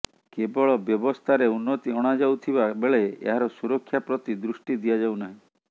କେବଳ ବ୍ୟବସ୍ଥାରେ ଉନ୍ନତି ଅଣାଯାଉଥିବା ବେଳେ ଏହାର ସୁରକ୍ଷା ପ୍ରତି ଦୃଷ୍ଟି ଦିଆଯାଉ ନାହିଁ